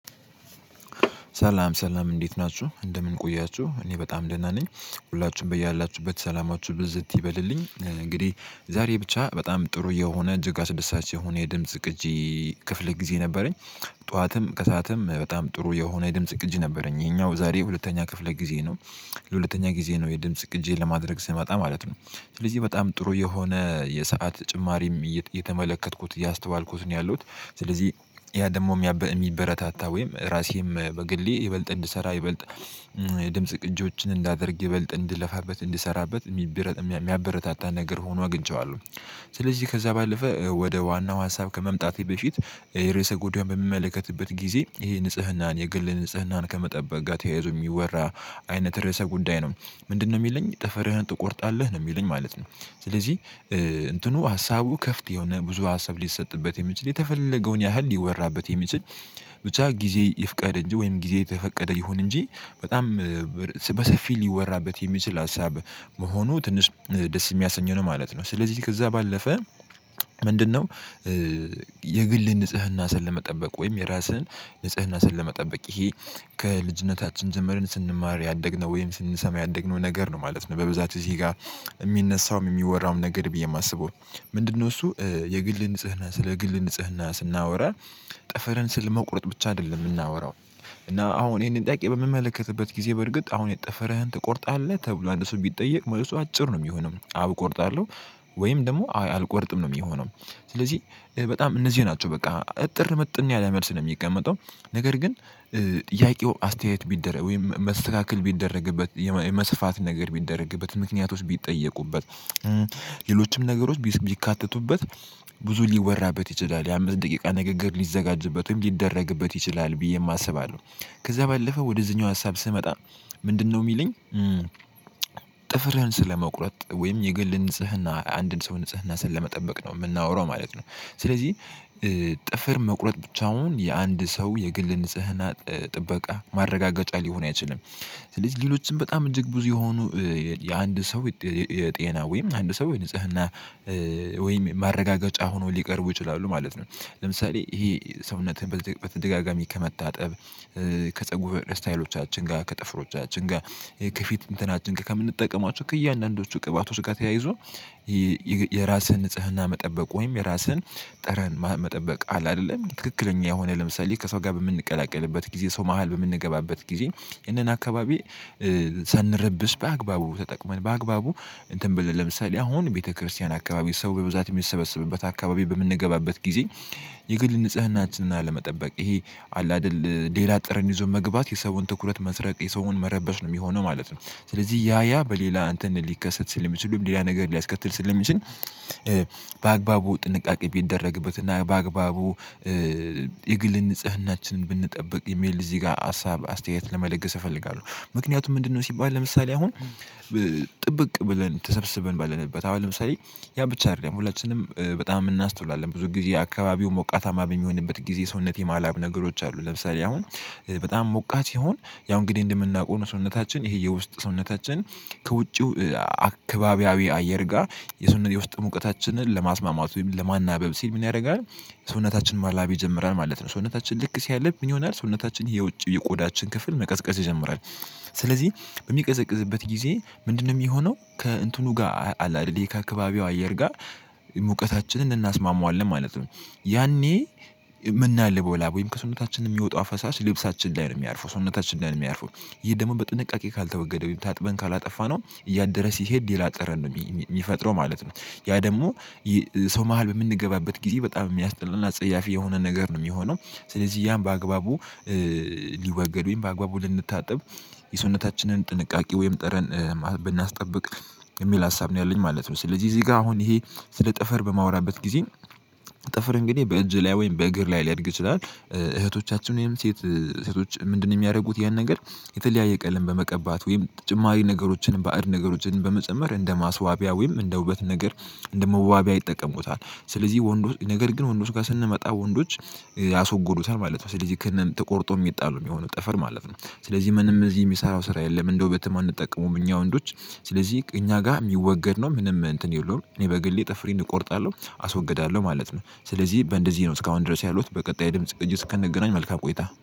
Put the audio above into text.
ሰላም፣ ሰላም! እንዴት ናችሁ? እንደምን ቆያችሁ እኔ በጣም ደህና ነኝ። ሁላችሁም በያላችሁበት ሰላማችሁ ብዝት ይበልልኝ። እንግዲህ፣ ዛሬ ብቻ በጣም ጥሩ የሆነ እጅግ አስደሳች የሆነ የድምጽ ግጂ ክፍል ጊዜ ነበረኝ ጠዋትም ከሰአትም በጣም ጥሩ የሆነ የድምጽ ቅጂ ነበረኝ የሄኛው ዛሬ ሁለተኛ ክፍለ ጊዜ ነው። ለሁለተኛ ጊዜ ነው የድምጽ ቅጂ ለማድረግ ስመጣ፣ ማለት ነው። ስለዚህ በጣም ጥሩ የሆነ የሰዓት ጨማሪም እየተመለከትኩት እያስተዋልኩት ነው ያለሁት ስለዚህ ያ ደሞም ያ ሚበረታታ ወይም ራሴም በግሌ ይበልጥ እንድሰራ ይበልጥ የድምጽ ቅጂዎችን እንዳደርግ ይበልጥ እንድለፋበት እንድሰራበት የሚብረ የሚያበረታታ ነገር ሆኖ አግኝቼዋለሁ ስለዚህ ከዛ ባለፈ ወደ ዋናው ሀሳብ ከመምጣቴ በፊት የሬሰህ ጎዳዩ በሚመለከትበት ጊዜ ይሄ ንጽህናን የግል ንጽህናን ከመጠበቅ ጋር ተያይዞ የሚወራ አይነት ርዕሰ ጉዳይ ነው ምንድነው ሚለኝ ጥፍርህን ትቆርጣለህ ነው የሚለኝ ማለት ነው ስለዚህ እንትኑ ሀሳቡ ከፍት የሆነ ብዙ ሀሳብ ሊሰጥበት የሚችል የተፈለገውን ያህል ሊወራበት የሚችል ብቻ፣ ጊዜ ይፍቀድ እንጂ፣ ወይም ጊዜ የተፈቀደ ይሁን እንጂ፣ በጣም በሰፊል ሊወራበት የሚችል ሀሳብ መሆኑ ትንሽ ደስ የሚያሰኘው ነው ማለት ነው ስለዚህ ከዛ ባለፈ ምንድነው የግል ንጽህና ስል ለመጠበቅ ወይም የራስህን ንጽህና ስል ለመጠበቅ ይሄ ከልጅነታችን ጀምረን ስንማር ያደግነው፣ ወይም ስንሰማ ያደግነው፣ ነገር ነው። ማለት ነው በብዛት እዚህ ጋር የሚነሳውም፣ የሚወራውም ነገር፣ ብዬ የማስበው ምንድነው እሱ? የግል ንጽህና ስለ ግል ንጽህና ስናወራ ጠፈረን ስል መቁረጥ ብቻ አይደለም ምናወራው እና አሁን ይሄንን ጠቂ በምመለከትበት ጊዜ በርግጥ አሁን የጠፈረህን ትቆርጣለህ ተብሎ አንድ ሰው ቢጠየቅ መልሱ አጭር ነው ሚሆነው አዎ እቆርጣለሁ ወይም ደሞ አልቆርጥም ነው ሚሆነው ስለዚህ በጣም እነዚህ ናቸው በቃ እጥር ምጥን ያለ መልስ ነው ሚቀመጠው ነገር ግን ጥያቄው አስተያየት ቢደረግ ወይም መስተካከል ቢደረግበት የመስፋት ነገር ቢደረግበት ምክንያቶች ቢጠየቁበት ሌሎችም ነገሮች ቢካተቱበት ብዙ ሊወራበት ይችላል የአምስት ደቂቃ ንግግር ሊዘጋጅበትም ሊደረግበት ይችላል ብዬ አስባለሁ ከዛ ባለፈ ወደዚህኛው ሀሳብ ስመጣ ምንድነው ሚለኝ ጥፍርህን ስለመቁረጥ ወይም የግል ንጽህና አንድን ሰው ንጽህና ስለ መጠበቅ ነው ምናወራው ማለት ነው ስለዚህ ጥፍር መቁረጥ ብቻውን የአንድ ሰው የግል ንጽህና ጥበቃ ማረጋገጫ ሊሆን አይችልም ስለዚህ ሌሎችም በጣም እጅግ ብዙ የሆኑ የአንድ ሰው የጤና ወይም አንድ ሰው ንጽህና ወይም ማረጋገጫ ሆኖ ሊቀርቡ ይችላሉ ማለት ነው ለምሳሌ ይሄ ሰውነትህን በተደጋጋሚ ከመታጠብ ከጸጉር ስታይሎቻችን ጋር ከጥፍሮቻችን ጋር ከፊት እንትናችን ከምንጠቀማቸው ከእያንዳንዱ ቅባቶች ጋር ተያይዞ የራስህን ንጽህና መጠበቅ፣ ወይም የራስህን ጠረን መጠበቅ አለ አደለም ትክክለኛ የሆነ ለምሳሌ ከሰው ጋር በምንቀላቀልበት ጊዜ ሰው መሃል በምንገባበት ጊዜ ይሄንን አካባቢ ሳንረብሽ በአግባቡ ተጠቅመን በአግባቡ እንትን ብለን ለምሳሌ አሁን ቤተክርስቲያን አካባቢ ሰው በብዛት ሚሰበስብበት አካባቢ በምንገባበት ጊዜ የግል ንጽህናችንን አለመጠበቅ ይሄ አላደል ሌላ ጥረን ይዞ መግባት የሰውን ትኩረት መስረቅ የሰውን መረበሽ ነው ሚሆነው ማለት ነው ስለዚህ ያ ያ በሌላ እንተን ሊከሰት ስለሚችል ሌላ ነገር ሊያስከትል ስለሚችል በአግባቡ ጥንቃቄ ቢደረግበት እና በአግባቡ የግል ንጽህናችንን ብንጠብቅ የሚል እዚህ ጋ ሀሳብ አስተያየት ለመለገስ እፈልጋለሁ ምክንያቱም ምንድነው ሲባል ለምሳሌ አሁን ጥብቅ ብለን ተሰብስበን ባለንበት አሁን ለምሳሌ ያ ብቻ አደለም ሁላችንም በጣም እናስተውላለን ብዙ ጊዜ አካባቢው ሞቃታማ በሚሆንበት ጊዜ ሰውነቴ ማላብ ነገሮች አሉ ለምሳሌ አሁን በጣም ሞቆት ሲሆን ያው እንግዲህ እንደምናውቀው ሰውነታችን ይሄ የውስጥ ሰውነታችን ከውጪው አካባቢያዊ አየር ጋር የሰውነት የውስጥ ሙቀታችንን ለማስማማት ወይም ለማናበብ ሲል ምን ያርጋል ሰውነታችን ማላቤ ይጀምራል ማለት ነው ሰውነታችን ልክ ሲያለብ ምን ይሆናል ሰውነታችን የውጭ የቁዳችን ክፍል መቀዝቀዝ ይጀምራል ስለዚህ ሚቀዘቅዝበት ጊዜ ምንድነው ሚሆነው ከእንትኑ ጋር አለ አይደል ይሄ ከአካባቢው አየር ጋር ሙቀታችንን እናስማማዋለን ማለት ነው ያኔ ምናልበው ላብ ወይም ከሰውነታችን የሚወጡ አፈሳሽ ልብሳችን ላይ ነው የሚያርፉ ሰውነታችን ላይ ነው የሚያርፈው ይሄ ደግሞ በጥንቃቄ ካልተወገደ ታጥበን ካላጠፋነው እያደረ ሲሄድ ሌላ ጠረን ነው ሚፈጥረው ማለት ነው ያ ደሞ ሰው መሃል በምንገባበት ጊዜ በጣም ሚያስጠላና ጸያፊ የሆነ ነገር ነው ሚሆነው ስለዚህ ያን በአግባቡ ሊወገድ በአግባቡ ልንታጠብ የሰውነታችንን ጥንቃቄ ወይም ጠረን ብናስጠብቅ የሚል ሀሳብ ነው ያለኝ ማለት ነው ስለዚህ እዚህ ጋ አሁን ይሄ ስለ ጥፍር በማውራበት ጊዜ ጥፍር እንግዲህ በእጅ ላይ ወይም በእግር ላይ ሊያድግ ይችላል እህቶቻችን ወይም ሴት ሴቶች ምንድነው የሚያርጉት ይሄን ነገር የተለያየ ቀለም በመቀባት ወይም ተጨማሪ ነገሮችን ባዕድ ነገሮችን በመጨመር እንደ ማስዋቢያ ወይም እንደ ውበት ነገር እንደ መዋቢያ ይጠቀሙታል ስለዚህ ወንዱ ነገር ግን ወንዶች ጋር ስንመጣ ወንዶች ያስወጉታል ማለት ነው ስለዚህ ክህንን ተቆርጦ ሚጣል ሚሆነው ጠፈር ማለት ነው ስለዚህ ምንም እዚህ ሚሰራው ስራ የለም እንደ ወበተም አንጠቀመውም እኛ ወንዶች ስለዚህ እኛ ጋር የሚወገድ ነው ምንም እንትን የለውም እኔ በግሌ ጥፍሬን እቆርጣለሁ አስወግዳለሁ ማለት ነው ስለዚህ በእንደዚህ ነው እስካሁን ድረስ ያሉት በቀጣይ ድምጽ እጅ እስክንገናኝ መልካም ቆይታ